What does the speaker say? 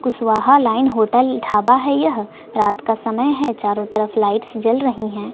Kushwaha line hotel dhaba है यह रात का समय है चारों तरफ लाइट्स जल रही हैं।